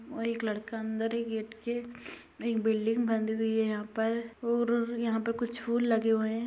और एक लड़का अंदर है गेट के । एक बिल्डिंग बन रही है यहाँ पर और यहाँ पर कुछ फूल लगे हुए हैं।